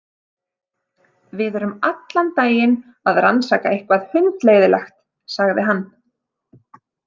Við erum allan daginn að rannsaka eitthvað hundleiðinlegt, sagði hann.